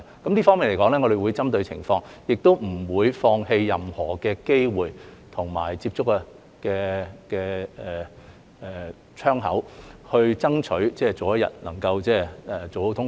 就這方面而言，我們會針對情況，也不會放棄任何機會和接觸的窗口，爭取早日通關。